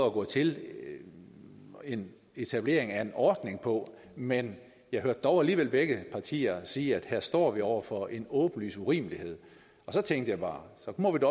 at gå til en etablering af en ordning på men jeg hørte dog alligevel begge partier sige at vi her står over for en åbenlys urimelighed så tænkte jeg bare så må det